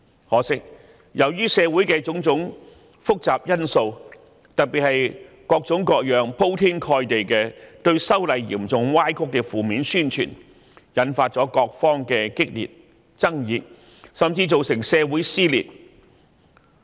可惜，由於社會上的種種複雜因素，特別是各種各樣、鋪天蓋地嚴重歪曲修例工作的負面宣傳，引發激烈爭議，甚至造成社會撕裂。